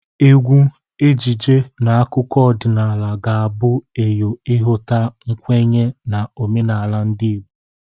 Egwu, ejiji na akụkụ ọdịnala ga-abụ eyo ịhụta mkwenye na omenala ndị Igbo.